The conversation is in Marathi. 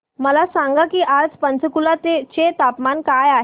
मला सांगा की आज पंचकुला चे तापमान काय आहे